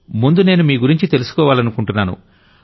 ముందు నేను మీ గురించి తెలుసుకోవాలనుకుంటున్నాను